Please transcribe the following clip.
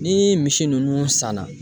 Ni misi nunnu san na